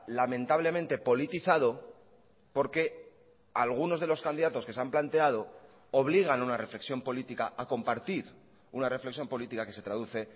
lamentablemente politizado porque algunos de los candidatos que se han planteado obligan a una reflexión política a compartir una reflexión política que se traduce